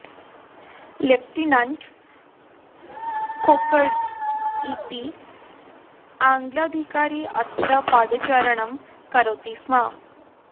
lieutenant कोकरस् इति आङ्ग्लाधिकारी अत्र पादचारणं करोति स्म